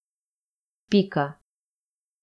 Pika.